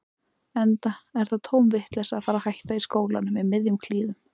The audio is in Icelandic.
Enda er það tóm vitleysa að fara að hætta í skólanum í miðjum klíðum.